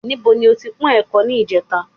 Níbo ni o ti po ẹ̀kọ ní ìjẹta?